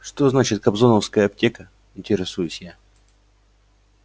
что значит кобзоновская аптека интересуюсь я